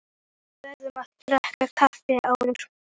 Við verðum að drekka kaffi áður.